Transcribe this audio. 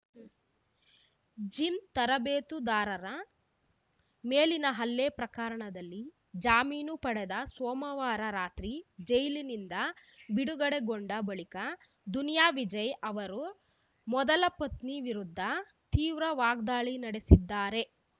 gym ತರಬೇತುದಾರನ ಮೇಲಿನ ಹಲ್ಲೆ ಪ್ರಕರಣದಲ್ಲಿ ಜಾಮೀನು ಪಡೆದು ಸೋಮವಾರ ರಾತ್ರಿ ಜೈಲಿನಿಂದ ಬಿಡುಗಡೆಗೊಂಡ ಬಳಿಕ ದುನಿಯಾ ವಿಜಯ್‌ ಅವರು ಮೊದಲ ಪತ್ನಿ ವಿರುದ್ಧ ತೀವ್ರ ವಾಗ್ದಾಳಿ ನಡೆಸಿದ್ದರು